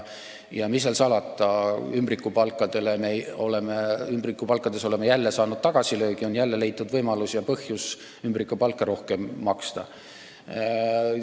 Ja mis seal salata, ümbrikupalkades oleme jälle saanud tagasilöögi, jälle on leitud võimalus ja põhjus ümbrikupalka rohkem maksta.